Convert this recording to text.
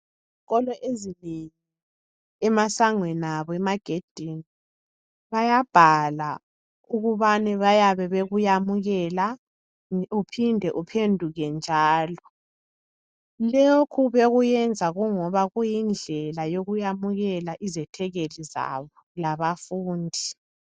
Izikolo ezinengi, emasangweni abo, emagedini. Bayabhala ukubana bayabe bekuyamukela. Uphinde uphenduke njalo. Lokhu bayabe bekuyenza, kuyindlela yokuyamukela. izethekeli zabo labafundi.